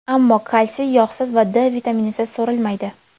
Ammo kalsiy yog‘siz va D vitaminisiz so‘rilmaydi.